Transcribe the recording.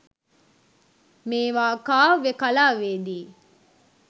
මේවා කාව්‍ය කලාවේ දී